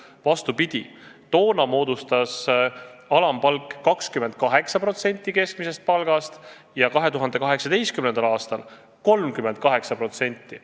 Vastupidi, toona moodustas alampalk 28% keskmisest palgast ja 2018. aastal 38%.